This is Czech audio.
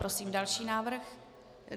Prosím další návrh.